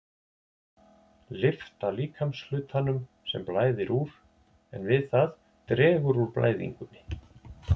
Lyfta líkamshlutanum, sem blæðir úr, en við það dregur úr blæðingunni.